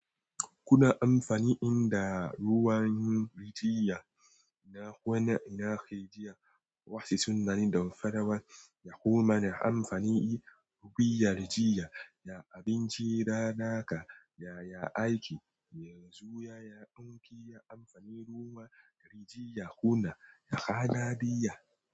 Kuna amfani in da ruwan rijiyar na kuna ina kai jiya? Wasu sun zani don farawar ya koma da amfani yi ruɓiyar jiya ya abinci da naka yaya aiki. Yanzu yaya ɗanki ya amfani ruwan rijiyar kuna ya ka na jiya?